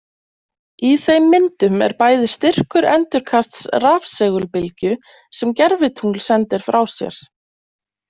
Í þeim myndum er bæði styrkur endurkasts rafsegulbylgju sem gervitungl sendir frá sér.